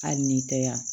Hali n'i tɛ yan